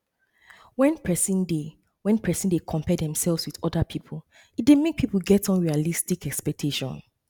when person dey when person dey compare themself with oda pipo e dey make pipo get unrealistic expectation